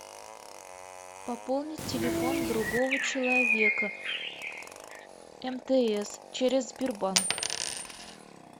пополнить телефон другого человека мтс через сбербанк